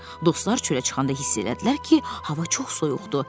Dostlar çölə çıxanda hiss elədilər ki, hava çox soyuqdur.